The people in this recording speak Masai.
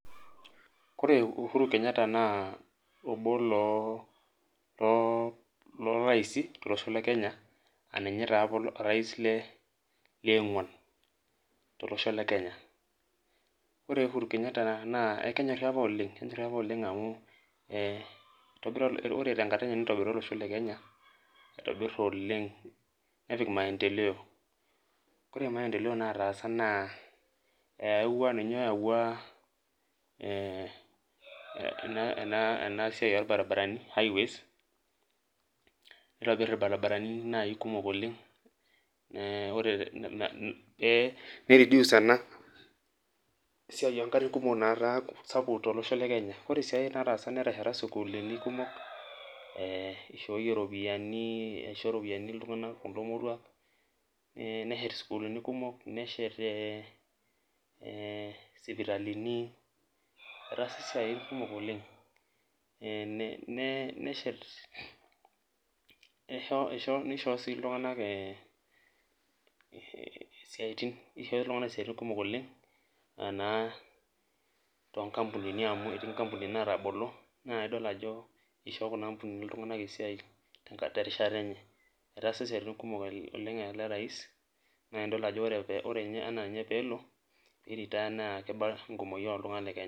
Oree uhuru kenyata na obo loraisi tolosho lekenya aa ninye apa orai leonguan, ore uhuru Kenyata na kenyori apa oleng amu itobira olosho lekenya aitobir oleng nepik maendeleo koree maendeleo nataasa na eyawuo ninye oyawua ena siai orbaribarani nitobir irbaribarani kumok oleng ore ai aai netesheta sukulini kumok ishooyie ropiyani neshet ee sipitalini etaasa siaitin kumok oleng neshet nisho ltunganak siatin kumok oleng anaa to kampunini natabolo nidol ajo igero ltunganak kumok oleng terishata enyebetaasa siatini kumok ore ana pelo airetire na kiba ltunganak lekenya